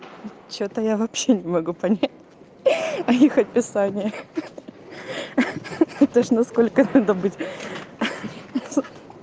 что-то я вообще не могу понять ха-ха а их описаниях ха-ха то ж насколько надо быть ха-ха